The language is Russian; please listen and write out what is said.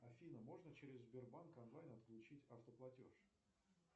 афина можно через сбербанк онлайн отключить автоплатеж